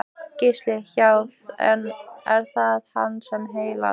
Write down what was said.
Gísli: Já, er það hann sem heillar?